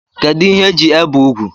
Kedu ihe eji ebe úgwù?